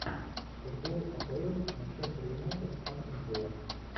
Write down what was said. футбол апл манчестер юнайтед астон вилла